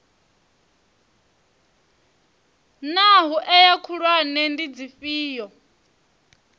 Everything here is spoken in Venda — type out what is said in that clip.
naa hoea khulwane ndi dzifhio